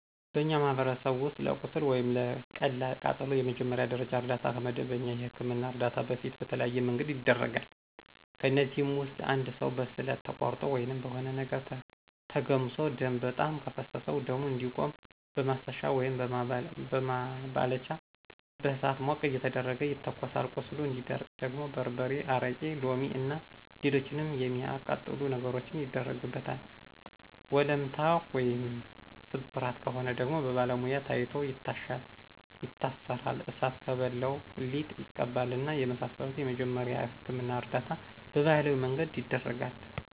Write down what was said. በእኛ ማህበረሰብ ውስጥ ለቁስል ወይም ለቀላል ቃጠሎ የመጀመሪያ ደረጃ እርዳታ ከመደበኛ የህክምና እርዳታ በፊት በተለያዬ መንገድ ይደረጋል። ከእነዚህም ውስጥ እንድ ሰው በስለት ተቆርጦ ወይም በሆነ ነገር ተገምሶ ደም በጣም ከፈሰሰው ደሙ እንዲቆም በማሰሻ ወይም በማባለቻ በእሳት ሞቅ እየተደረገ ይተኮሳል ቁስሉ እንዲደርቅ ደግሞ በርበሬ፣ አረቂ፣ ሎሚ እና ሎሎችንም የሚአቃጥሉ ነገሮችን ይደረግበታል፣ ወለምታ ወይም ስብራት ከሆነ ደግሞ በባለሙያ ታይቶ ይታሻል ይታሰራል፣ እሳት ከበላው ሊጥ ይቀባል እና የመሳሰሉትን የመጀመሪያ የህክምና እርዳታ በባህላዊ መንገድ ይደረጋል።